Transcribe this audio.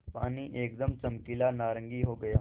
पानी एकदम चमकीला नारंगी हो गया